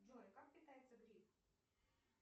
джой как питается гриб